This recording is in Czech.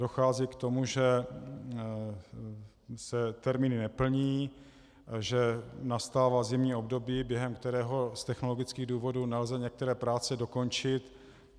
Dochází k tomu, že se termíny neplní, že nastává zimní období, během kterého z technologických důvodů nelze některé práce dokončit.